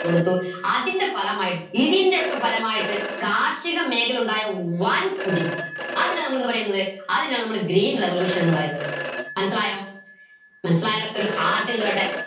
കൊടുത്തു അതിന്റെ ഫലമായി ഇതിൻറെയൊക്കെ ഫലമായിട്ട് കാർഷിക മേഖല ഉണ്ടായ വൻ കുതിച്ച് അതിനെ നമ്മളെന്ത് പറീന്നത് അതിനെയാ നമ്മൾ green revolution എന്ന് പറയുന്നത്'മനസിലായോ മനസിലായവരൊക്കെ ഒരു heart ഇങ്ങട് വരട്ടെ